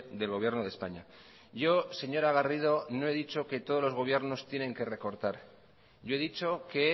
del gobierno de españa yo señora garrido no he dicho que todos los gobiernos tienen que recortar yo he dicho que